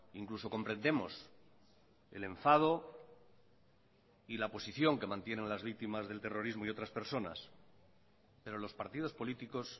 incluso comprendemos el enfado y la posición que mantienen las víctimas del terrorismo y otras personas pero los partidos políticos